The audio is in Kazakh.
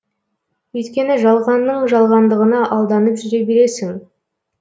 өйткені жалғанның жалғандығына алданып жүре бересің